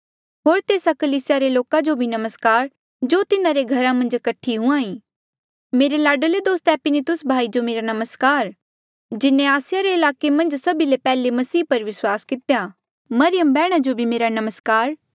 होर तेस्सा कलीसिया रे लोका जो भी नमस्कार जो तिन्हारे घरा मन्झ कठा हुई मेरे लाडले दोस्त इपैनितुस भाई जो मेरा नमस्कार जिन्हें आसिया रे ईलाके मन्झ सभी ले पैहले मसीह पर विस्वास कितेया